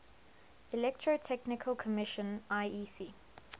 electrotechnical commission iec